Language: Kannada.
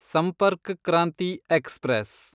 ಸಂಪರ್ಕ್ ಕ್ರಾಂತಿ ಎಕ್ಸ್‌ಪ್ರೆಸ್